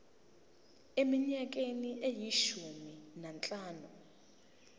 eminyakeni eyishumi nanhlanu